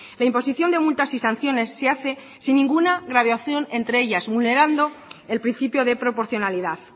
la imposición de multas y sanciones se hace sin ninguna graduación entre ellas vulnerando el principio de proporcionalidad